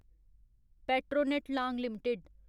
Petronet लांग limited